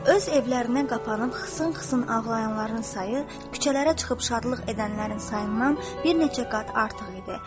Öz evlərinə qapanıb xısın-xısın ağlayanların sayı küçələrə çıxıb şadlıq edənlərin sayından bir neçə qat artıq idi.